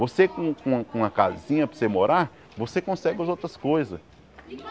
Você com uma com uma com uma casinha para você morar, você consegue as outras coisas.